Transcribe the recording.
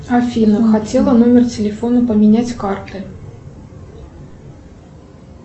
афина хотела номер телефона поменять карты